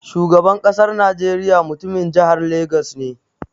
Shugaban ƙasar najeriya mutumin jihar Lagos ne.